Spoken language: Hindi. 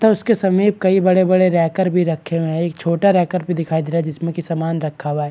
तो उसके समीप बड़े-बड़े रेकर भी रखे हैं छोटा रेकर भी दिख रहा है जिसमें सामान भी रखा हुआ है।